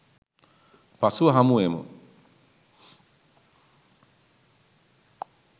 පසුව හමුවෙමු